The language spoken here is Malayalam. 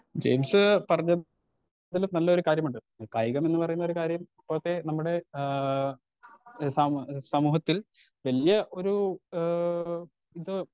സ്പീക്കർ 2 ജെയിംസ് പറഞ്ഞതില് നല്ലൊരു കാര്യമുണ്ട് ഈ കായികമെന്ന് പറയുന്നൊരു കാര്യം ഇപ്പൊക്കെ നമ്മുടെ ആ ഏ സമ് സമൂഹത്തിൽ വല്ല്യ ഒരു ഏ ഇത്.